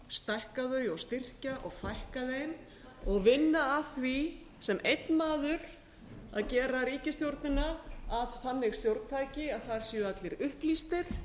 stækka þau og styrkja og fækka þeim og vinna að því sem einn maður að gera ríkisstjórnina að þannig stjórntæki að það séu allir upplýstir